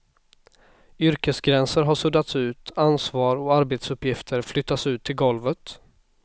Yrkesgränser har suddats ut, ansvar och arbetsuppgifter flyttats ut till golvet.